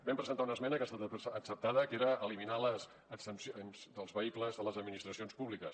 vam presentar una esmena que ha estat acceptada que era eliminar les exempcions dels vehicles de les administracions públiques